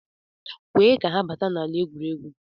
kwee ka ha bata n'ala egwuregwu